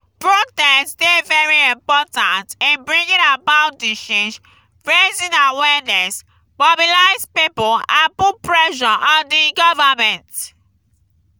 protest dey very important in bringing about di change raising awareness mobilize people and put pressure on di government.